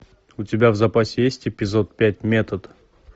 у тебя в запасе есть эпизод пять метод